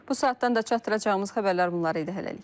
Bu saatdan da çatdıracağımız xəbərlər bunlar idi hələlik.